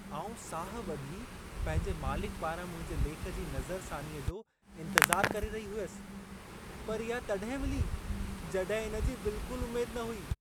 आउं साहु ॿधी पंहिंजे मालिक पारां मुंहिंजे लेख जी नज़रसानीअ जो इंतज़ारु करे रही हुयसि, पर इहा तॾहिं मिली जॾहिं इन जी बिल्कुलु उमेद न हुई।